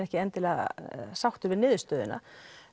ekki endilega sáttur við niðurstöðuna